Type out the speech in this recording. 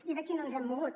i d’aquí no ens hem mogut